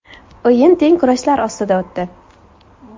O‘yin teng kurashlar ostida o‘tdi.